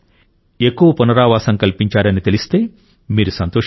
ఎక్కువ పునరావాసం కల్పించారని తెలిస్తే మీరు సంతోషిస్తారు